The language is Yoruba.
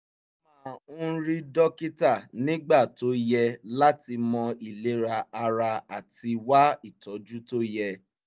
ó máa ń rí dókítà nígbà tó yẹ láti mọ ìlera ara àti wá ìtọ́jú tó yẹ